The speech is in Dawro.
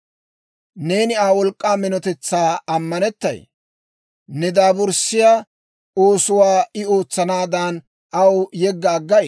Neeni Aa wolk'k'aa minotetsan ammanettay? Ne daaburssiyaa oosuwaa I ootsanaadan, aw yegga aggay?